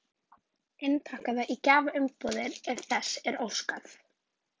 Innpakkaða í gjafaumbúðir ef þess er óskað.